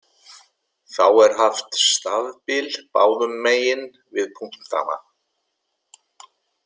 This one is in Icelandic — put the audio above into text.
Þá er haft stafbil báðum megin við punktana.